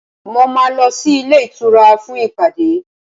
Mo máa lọ sí ilé ìtura fún ìpàdé